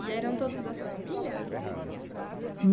E eram todos da sua família?